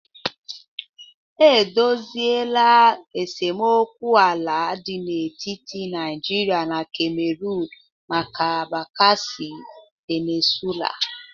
E dosịela esemokwu ala dị n'etiti Naijiria na Camerun maka bakassi Peninsula